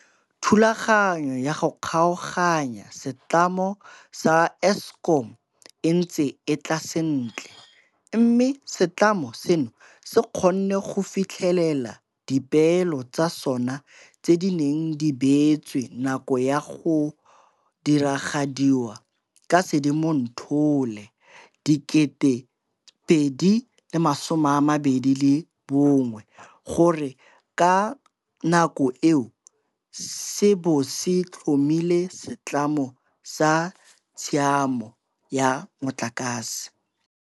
Thulaganyo ya go kgaoganya setlamo sa Eskom e ntse e tla sentle, mme setlamo seno se kgonne go fitlhelela dipeelo tsa sona tse di neng di beetswe nako ya go diragadiwa ka Sedimonthole 2021 gore ka nako eo se bo se tlhomile Setlamo sa Tsamaiso ya Motlakase.